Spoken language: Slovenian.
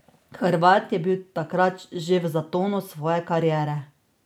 Hrvat je bil takrat že v zatonu svoje kariere.